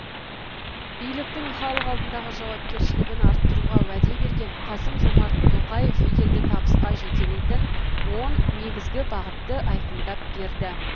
биліктің халық алдындағы жауапкершілігін арттыруға уәде берген қасым жомарт тоқаев елді табысқа жетелейтін он негізгі бағытты айқындап берді